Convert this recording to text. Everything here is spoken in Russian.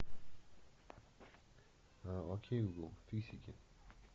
ок гугл фиксики